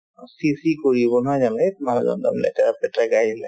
ছিঃ ছিঃ কৰিব নহয় জানো এৎ মানুহজন বৰ লেতেৰা-পেতেৰাকে আহিলে